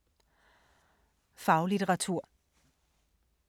Faglitteratur